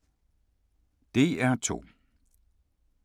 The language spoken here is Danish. DR2